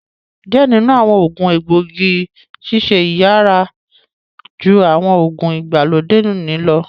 Diẹ ninu awọn oogun egboigi ṣiṣẹ yiyara ju awọn oogun igbalode oni lọ